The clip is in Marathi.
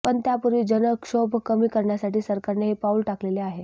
पण त्यापूर्वीच जनक्षोभ कमी करण्यासाठी सरकारने हे पाऊल टाकलेले आहे